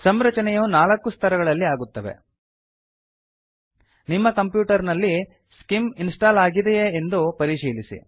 ಸಂರಚನೆಯು ನಾಲ್ಕು ಸ್ತರಗಳಲ್ಲಿ ಆಗುತ್ತವೆ ನಿಮ್ಮ ಕಂಪ್ಯೂಟರ್ ನಲ್ಲಿ ಸ್ಕಿಮ್ ಸ್ಕಿಮ್ ಇನ್ಸ್ಟಾಲ್ ಆಗಿದೆಯೇ ಎಂದು ಪರಿಶೀಲಿಸಿ